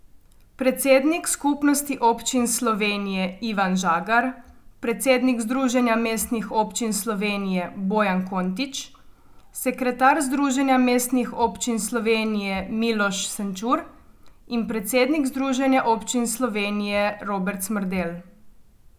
Predsednik Skupnosti občin Slovenije Ivan Žagar, predsednik Združenja mestnih občin Slovenije Bojan Kontič, sekretar Združenja mestnih občin Slovenije Miloš Senčur in predsednik Združenja občin Slovenije Robert Smrdelj.